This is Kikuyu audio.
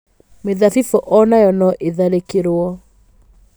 Mĩthabibũ o nayo no ĩtharĩkĩrũo.